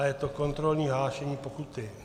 A je to kontrolní hlášení pokuty.